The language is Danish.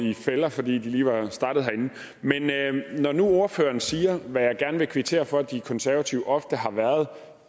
i fælder fordi de lige var startet herinde men når nu ordføreren siger hvad jeg gerne vil kvittere for at de konservative ofte har været